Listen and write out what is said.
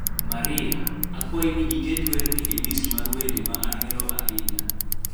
Maria, akwayi ni iket werni e list mar wende ma ahero ahinya